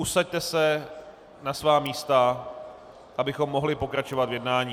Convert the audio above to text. Usaďte se na svá místa, abychom mohli pokračovat v jednání.